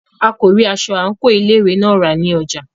A kò rí aṣọ àńkò ilé ìwé náà rà ní ọjà.